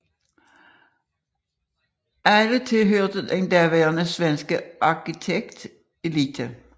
Alle tilhørte den daværende svenske arkitektelite